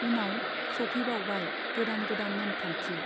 उनाव सौफैबावबाय गोदान गोदान नेमखान्थि।